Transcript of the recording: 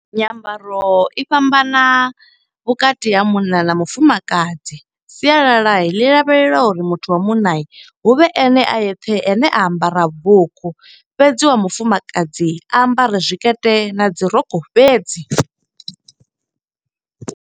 Nyambaro i fhambana vhukati ha munna na mufumakadzi. Sialala ḽi lavhelela uri muthu wa munna huvhe ene a yeṱhe ane a ambara vhurukhu. Fhedzi wa mufumakadzi a ambare zwikete na dzi rokho fhedzi.